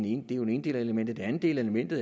ene element element det andet element er